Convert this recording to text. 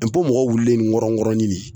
mɔgɔ wulilen nkɔrɔ nkɔrɔ ni nin.